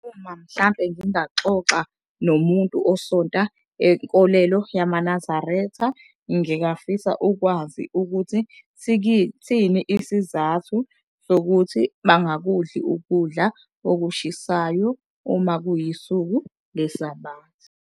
Uma mhlampe ngingaxoxa nomuntu osonta enkolelo yamaNazaretha, ngingafisa ukwazi ukuthi siyini isizathu sokuthi bangakudli ukudla okushisayo, uma kuyisuku leSabatha.